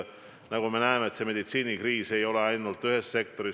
Nagu me näeme, kriis ei ole ainult meditsiinis, ainult ühes sektoris.